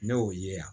Ne y'o ye yan